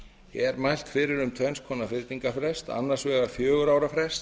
er mælt fyrir um þrenns konar fyrningarfrest annars vegar fjögurra ára frest